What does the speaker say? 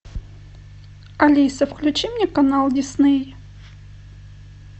алиса включи мне канал дисней